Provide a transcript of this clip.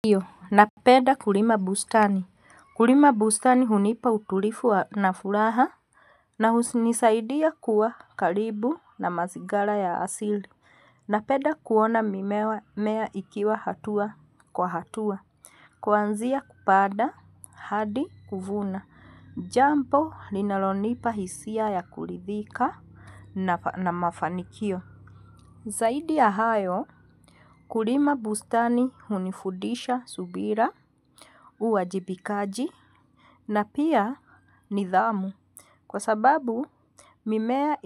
Ndiyo napenda kulima bustani. Kulima bustani hunipa utulivu na furaha. Na hunisaidia kuwa karibu na mazingara ya asili. Napenda kuona mimea ikiwa hatua kwa hatua. Kwanzia kupanda hadi kuvuna. Jambo linalonipa hisia ya kulidhika na mafanikio. Saidi ya hayo kulima bustani hunifudisha subira uwajibikaji na pia nidhamu. Kwa sababu mimea